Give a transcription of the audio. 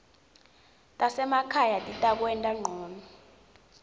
tasemakhaya titakwenta ngcono